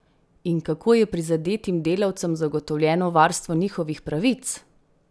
In kako je prizadetim delavcem zagotovljeno varstvo njihovih pravic?